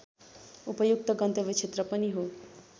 उपयुक्त गन्तव्य क्षेत्र पनि हुन्